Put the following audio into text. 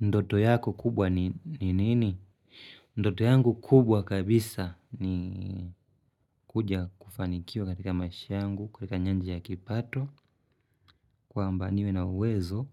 Ndoto yako kubwa ni nini? Ndoto yangu kubwa kabisa ni kuja kufanikiwa katika maisha yangu katika nyanja ya kipato kwamba niwe na uwezo